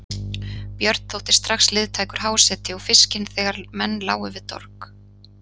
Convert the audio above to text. Björn þótti strax liðtækur háseti og fiskinn þegar menn lágu við dorg.